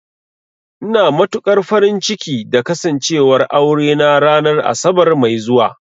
Ina matukar farin ciki da Kasancewar aurena ranar Asabar mai zuwa